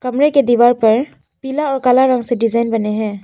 कमरे के दीवार पर पीला और काला रंग से डिजाइन बने है।